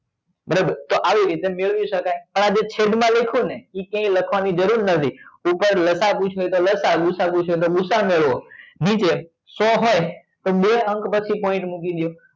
બરોબર તો આવી રીતે મેળવી શકાય અને આ જે છે. દ માં લખ્યું ને એ ક્યાય લખવા ની જરૂર નથી લસા પૂછ્યા હોય તો લસા ને ગુ સા અ પૂછ્યા હોય તો ગુ સા અ મેળવો નીચે સો હોય તો બે અંક પછી point મૂકી દયો